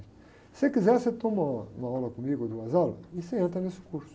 Se você quiser, você toma uma, uma aula comigo, duas aulas, e você entra nesse curso.